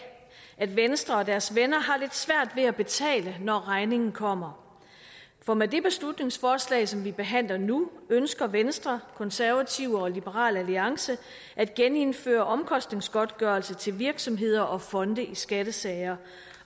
at venstre og deres venner har lidt svært ved at betale når regningen kommer for med det beslutningsforslag som vi behandler nu ønsker venstre konservative og liberal alliance at genindføre omkostningsgodtgørelse til virksomheder og fonde i skattesager